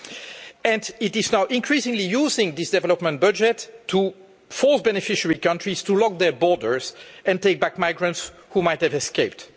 But it is now increasingly using this development budget to force beneficiary countries to lock their borders and take back migrants who might have escaped.